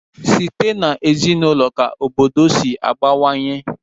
Site n'ezinaụlọ ka obodo si abawanye.